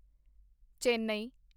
Chennai